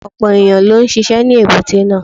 Ọ̀pọ̀ ẹ̀yàn ló ń ṣisẹ́ ní èbúté náà.